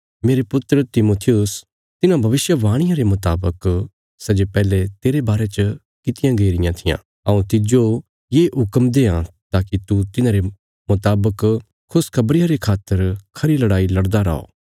मेरे पुत्र तिमुथियुस तिन्हां भविष्यवाणियां रे मुतावक सै जे पैहले तेरे बारे च कित्तियां गई रियां थिआं हऊँ तिज्जो ये हुक्म देआं ताकि तू तिन्हांरे मुतावक खुशखबरिया रे खातर खरी लड़ाई लड़दा रै